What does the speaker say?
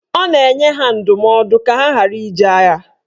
Ọ na-enye ha ndụmọdụ ka ha ghara ije agha.